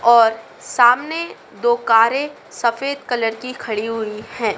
और सामने दो कारें सफेद कलर की खड़ी हुई हैं।